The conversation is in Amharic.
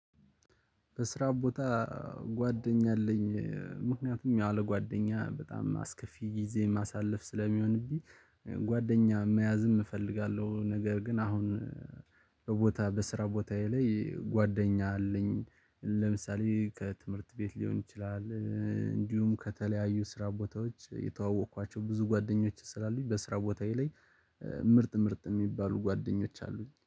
በስራ ቦታ ጓደኛ አለኝ። ምክንያቱም ያለ ጓደኛ በጣም አስከፊ ጊዜ ማሳለፍ ስለሚሆንብኝ። ጓደኛ መያዝም እፈልጋለሁ። ነገር ግን አሁን። በቦታ በስራ ቦታዬ ላይ ጓደኛ አለኝ። ለምሳሌ ከትምህርት ቤት ሊሆን ይችላል። እንዲሁም ከተለያዩ ስራ ቦታዎች የተዋወቅኳቸው ብዙ ጓደኞች ስላሉኝ በስራ ቦታዬ ላይ ምርጥ ምርጥ ምርጥ የሚባሉ ጓደኞች አሉኝ